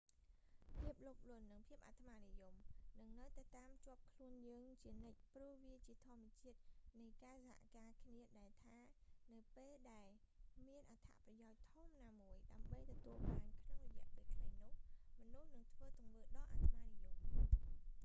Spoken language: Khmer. ភាពលោភលន់ និង ភាពអាត្មានិយមនឹងនៅតែតាមជាប់ខ្លួនយើងជានិច្ចព្រោះវាជាធម្មជាតិនៃការសហការគ្នាដែលថានៅពេលដែលមានអត្ថប្រយោជន៍ធំណាមួយដើម្បីទទួលបានក្នុងរយៈពេលខ្លី នោះមនុស្សនឹងធ្វើទង្វើដ៏អាត្មានិយម